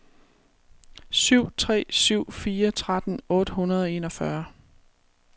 syv tre syv fire tretten otte hundrede og enogfyrre